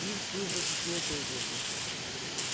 пивз тут же сочинил песенку